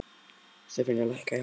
Stefanía, lækkaðu í hátalaranum.